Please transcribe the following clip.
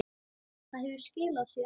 Það hefur skilað sér.